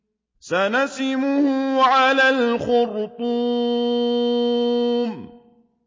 سَنَسِمُهُ عَلَى الْخُرْطُومِ